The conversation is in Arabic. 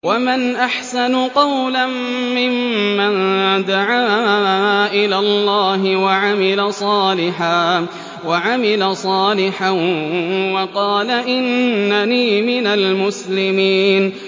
وَمَنْ أَحْسَنُ قَوْلًا مِّمَّن دَعَا إِلَى اللَّهِ وَعَمِلَ صَالِحًا وَقَالَ إِنَّنِي مِنَ الْمُسْلِمِينَ